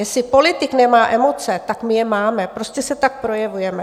Jestli politik nemá emoce, tak my je máme, prostě se tak projevujeme.